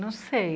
Não sei.